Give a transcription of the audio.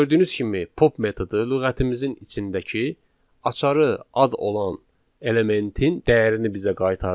Gördüyünüz kimi, pop metodu lüğətimizin içindəki açarı ad olan elementin dəyərini bizə qaytardı